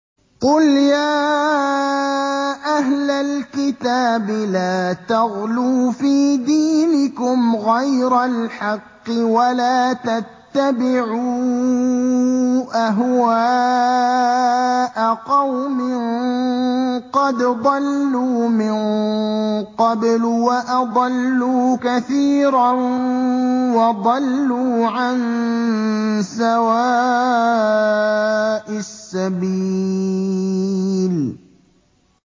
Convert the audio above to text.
قُلْ يَا أَهْلَ الْكِتَابِ لَا تَغْلُوا فِي دِينِكُمْ غَيْرَ الْحَقِّ وَلَا تَتَّبِعُوا أَهْوَاءَ قَوْمٍ قَدْ ضَلُّوا مِن قَبْلُ وَأَضَلُّوا كَثِيرًا وَضَلُّوا عَن سَوَاءِ السَّبِيلِ